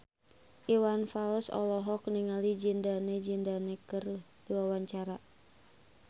Iwan Fals olohok ningali Zidane Zidane keur diwawancara